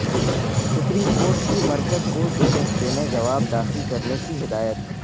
supreme court کی مرکزکودوہفتے میں جواب داخل کرنے کی ہدایت